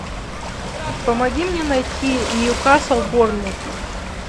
помоги мне найти ньюкасл борнмут